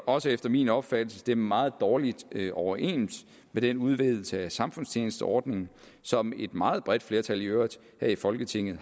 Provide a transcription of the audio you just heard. også efter min opfattelse stemme meget dårligt overens med den udvidelse af samfundstjenesteordningen som et meget bredt flertal i øvrigt her i folketinget